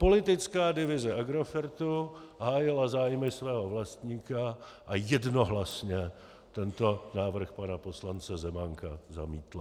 Politická divize Agrofertu hájila zájmy svého vlastníka a jednohlasně tento návrh pana poslance Zemánka zamítla.